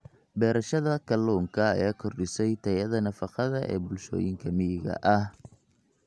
Beerashada kalluunka ayaa kordhisay tayada nafaqada ee bulshooyinka miyiga ah.